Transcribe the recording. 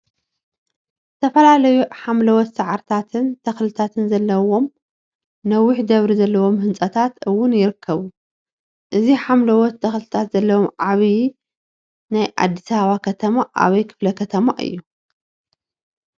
ዝተፈላለዩ ሓምለዎት ሳዕሪታትን ተክሊታን ዘለዎም ነዊሕ ደብሪ ዘለዎም ህንፃታት እውን ይርከቡ፡፡ እዚ ሓምለዎተ ተክሊታት ዘለዎ ዓብይ ናይ አዲሰ አበባ ከተማ አበይ ክፍለ ከተማ እዩ?